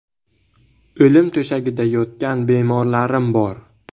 O‘lim to‘shagida yotgan bemorlarim bor.